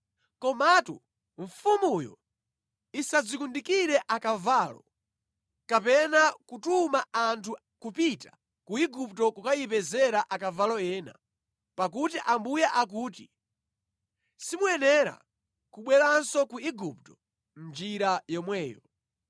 Komatu mfumuyo isadzikundikire akavalo, kapena kutuma anthu kupita ku Igupto kukayipezera akavalo ena, pakuti Ambuye akuti, “Simuyenera kubweranso ku Igupto mʼnjira yomweyo.”